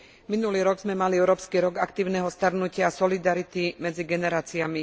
Minulý rok sme mali Európsky rok aktívneho starnutia a solidarity medzi generáciami.